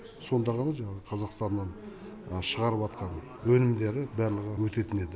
сонда ғана жаңағы қазақстаннан шығарып жатқан өнімдер барлығы өтетін еді